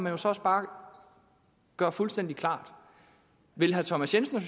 jo så også bare høre fuldstændig klart vil herre thomas jensen og